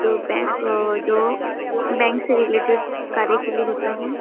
जो बैंक अ जो बैंक से रिलेटेड कार्य के लिए होता है।